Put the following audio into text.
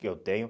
Que eu tenho.